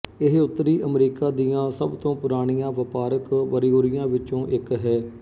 ਇਹ ਉੱਤਰੀ ਅਮਰੀਕਾ ਦੀਆਂ ਸਭ ਤੋਂ ਪੁਰਾਣੀਆਂ ਵਪਾਰਕ ਬਰਿਊਰੀਆਂ ਵਿੱਚੋਂ ਇੱਕ ਹੈ